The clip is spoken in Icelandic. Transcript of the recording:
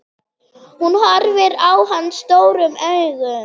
Hún horfir á hann stórum augum.